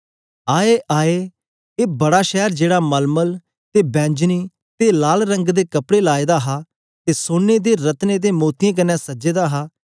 आय आय ए बड़ा शैर जेड़ा मलमल ते बैंजनी ते लाल रंग दे कपड़े लाए दा हा ते सोने ते रत्नों ते मोतियें कन्ने सजे दा हा